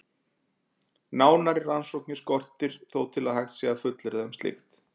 Nánari rannsóknir skortir þó til að hægt sé að fullyrða um slíkt.